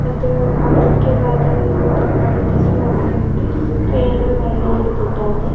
ಮತ್ತು ಅದಕ್ಕೆ ವಾದ ವಿವಾದ ಮಾಡುತಿದ್ದ ಒಬ್ಬ ವ್ಯಕ್ತಿ ಕೈಯನ್ನು ಮೇಲೆ ಹಿಡದಿದ್ದಾನೆ.